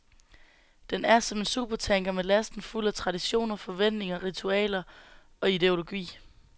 Den er som en supertanker med lasten fuld af traditioner, forventninger, ritualer og ideologi.